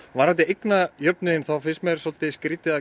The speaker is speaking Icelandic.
varðandi eignajöfnuð finnst mér skrítið að